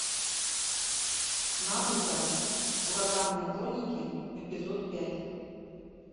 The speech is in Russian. наруто ураганные хроники эпизод пять